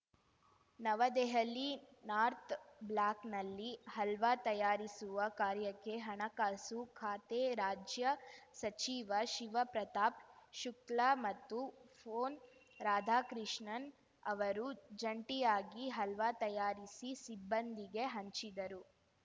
ನವದೆಹಲಿ north ಬ್ಲಾಕ್‌ನಲ್ಲಿ ಹಲ್ವಾ ತಯಾರಿಸುವ ಕಾರ್ಯಕ್ಕೆ ಹಣಕಾಸು ಖಾತೆ ರಾಜ್ಯ ಸಚಿವ ಶಿವ್‌ ಪ್ರತಾಪ್‌ ಶುಕ್ಲಾ ಮತ್ತು ಪೊನ್‌ ರಾಧಾಕೃಷ್ಣನ್‌ ಅವರು ಜಂಟಿಯಾಗಿ ಹಲ್ವಾ ತಯಾರಿಸಿ ಸಿಬ್ಬಂದಿಗೆ ಹಂಚಿದರು